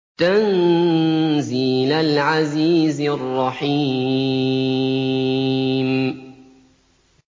تَنزِيلَ الْعَزِيزِ الرَّحِيمِ